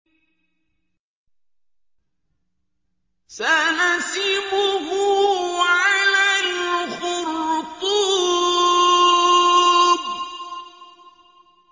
سَنَسِمُهُ عَلَى الْخُرْطُومِ